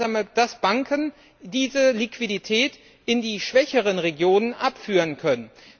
verhindern, dass Banken diese Liquidität in die schwächeren Regionen abführen können.